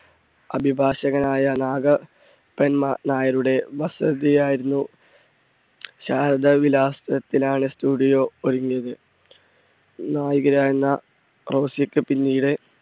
അഭിഭാഷകനായ നാഗ നായരുടെ വസതി ആയിരുന്നു ശാരദവിലാസത്തിലാണ് studio ഒരുങ്ങിയത്. നായികയായിരുന്ന റോസിക്ക് പിന്നീട്.